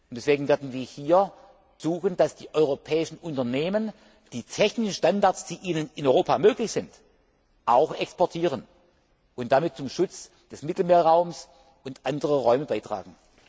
Deswegen werden wir hier versuchen, dass die europäischen Unternehmen die technischen Standards, die ihnen in Europa möglich sind, auch exportieren und damit zum Schutz des Mittelmeerraums und anderer Räume beitragen.